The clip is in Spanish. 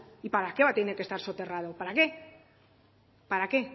y para qué va a tener que estar soterrado para qué